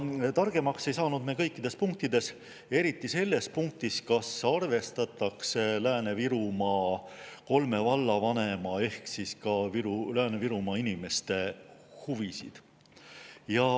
Targemaks ei saanud me aga kõikides punktides, eriti selles punktis, kas arvestatakse Lääne-Virumaa kolme vallavanema ehk siis ka Lääne-Virumaa inimeste huvisid.